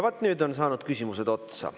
Vaat nüüd on saanud küsimused otsa.